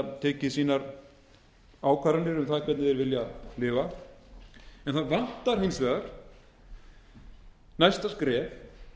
sínar ákvarðanir um það hvernig þeir vilja lifa en það vantar hins vegar næsta skref